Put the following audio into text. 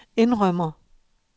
indrømmer